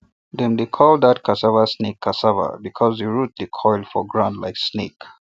dem dey call that cassava snake cassava because the root dey coil for ground like snake